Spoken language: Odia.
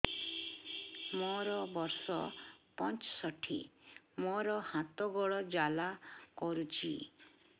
ମୋର ବର୍ଷ ପଞ୍ଚଷଠି ମୋର ହାତ ଗୋଡ଼ ଜାଲା କରୁଛି